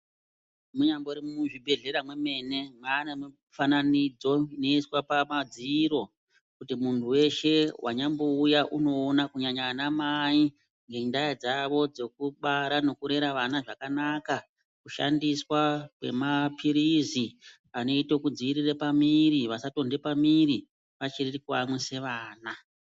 Munyambori mwuzvibhedhlera mwemene mwane mufananidzi inoiswa pamadziro kuti muntu weshe wanyambouya unoona kunyanya ana mai ngenda dzavo dzokubara nokurera vana zvakanaka , kushandiswa kwemaphirizi anoite kudzivirira pamiri vasatonde pamuviri vachiri kuyamwise vana.